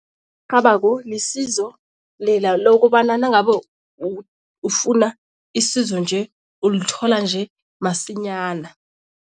rhabako lisizo lela lokobana nangabe ufuna isizo nje, ulithola nje masinyana.